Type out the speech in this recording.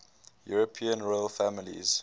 european royal families